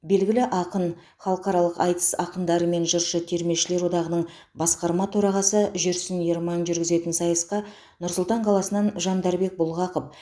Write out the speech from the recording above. белгілі ақын халықаралық айтыс ақындары мен жыршы термешілер одағының басқарма төрағасы жүрсін ерман жүргізетін сайысқа нұр сұлтан қаласынан жандарбек бұлғақов